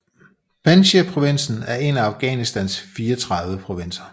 Panjshirprovinsen er en af Afghanistans 34 provinser